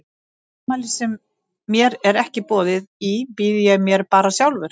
Í afmæli sem mér er ekki boðið í býð ég mér bara sjálfur.